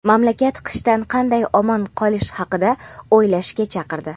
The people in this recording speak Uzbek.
mamlakat qishdan qanday omon qolish haqida o‘ylashga chaqirdi.